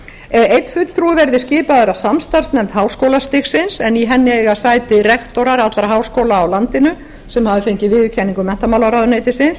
einn fulltrúi verði skipaður af samstarfsnefnd háskólastigsins en í henni eiga sæti rektorar allra háskóla á landinu sem hafa fengið viðurkenningu menntamálaráðuneytisins